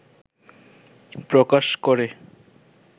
প্রকাশ করে